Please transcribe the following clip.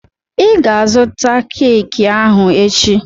I ga azụta keeki ahụ echi!